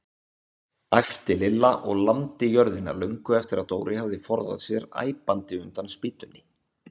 æpti Lilla og lamdi jörðina löngu eftir að Dóri hafði forðað sér æpandi undan spýtunni.